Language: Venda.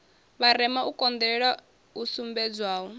vharema u konḓelela hu sumbedzwaho